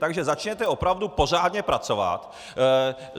Takže začněte opravdu pořádně pracovat!